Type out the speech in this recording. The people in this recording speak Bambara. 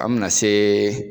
An mena see